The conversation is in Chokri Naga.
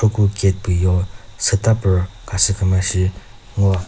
puko cake püyo sütapüru khasü küma shi ngoa.